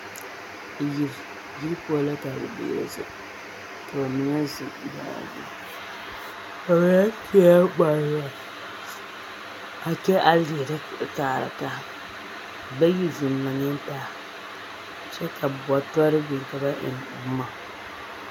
Yiri, yiri poɔ la ka noba zeŋ, ka bamine zeŋ daa zu a kyɛ leɛrɛ kaara taa bayi zeŋ laŋɛɛ taa kyɛ ka bɔtɔre biŋ ka ba eŋ boma.